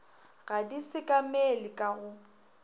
ga di sekamele ka go